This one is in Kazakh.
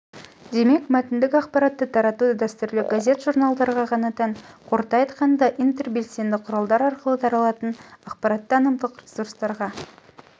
демек мәтіндік ақпаратты тарату дәстүрлі газет-журналдарға ғана тән қорыта айтқанда интербелсенді құралдар арқылы таралатын ақпараттықтанымдық ресурстарға